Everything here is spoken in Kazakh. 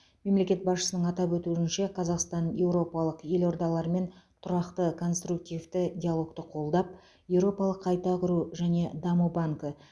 мемлекет басшысының атап өтуінше қазақстан еуропалық елордалармен тұрақты конструктивті диалогты қолдап еуропалық қайта құру және даму банкі